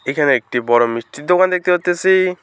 এখানে একটি বড় মিষ্টির দোকান দেখতে পারতাসি।